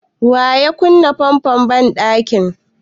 Wa ya kunna famfon banɗakin?